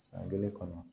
San kelen kɔnɔ